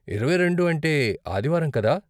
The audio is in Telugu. ఇరవై రెండు అంటే ఆదివారం, కదా?